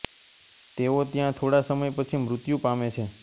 તેઓ ત્યાં થોડા સમય પછી મૃત્યુ પામે છે